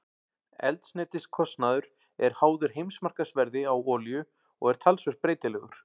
Eldsneytiskostnaður er háður heimsmarkaðsverði á olíu og er talsvert breytilegur.